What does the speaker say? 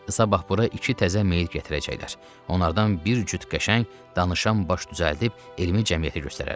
Sabah bura iki təzə meyid gətirəcəklər, onlardan bir cüt qəşəng danışan baş düzəldib elmi cəmiyyətə göstərərik.